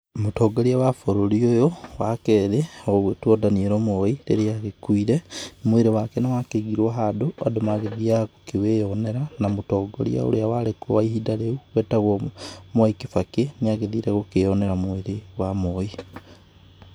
Mũtongoria wa bũrũri ũyũ, wa kerĩ, ũgũĩtũo Daniel Moi, rĩrĩa agĩkuire, mwrĩrĩ wake nĩwakĩigirũo handũ, andũ magagĩthiga gũkĩwĩyonera na mũtongoria ũrĩa warĩ kuo ihinda rĩu wetagũo Mwai Kĩbakĩ, níagĩthiire gũkĩyonera mwĩrĩ wa Moi.